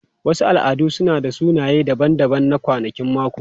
Wasu al'adu suna da sunaye daban-daban na kwanakin mako.